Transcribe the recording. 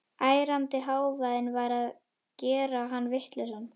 Ærandi hávaðinn var að gera hann vitlausan.